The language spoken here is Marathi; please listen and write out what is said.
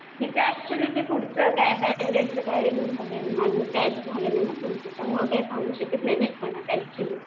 हिजं ऍक्च्युली काय ते पुढचं काय अजून काय झालं नाही ना पुढं त्यामुळं काही सांगू शकत नाही ऍक्च्युली.